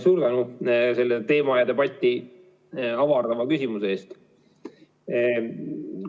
Suur tänu selle teema ja debatti avardava küsimuse eest!